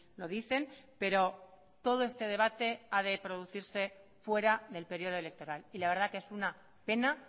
lo dicen pero todo este debate ha de producirse fuera del periodo electoral y la verdad que es una pena